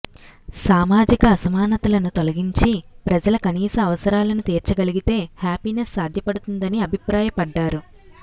సామాజిక అసమానతలను తొలగించి ప్రజల కనీస అవసరాలను తీర్చగలిగితే హ్యాపీనెస్ సాధ్యపడుతుందని అభిప్రాయపడ్డారు